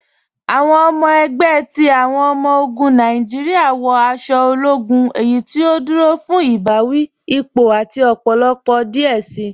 Awọn ọmọ ẹgbẹ ti awọn ọmọ-ogun Nàìjíríà wọ aṣọ ológún, eyí tí ó dúró fún ibàwí, ípò, àti ọpọlọpọ díẹ̀ sí.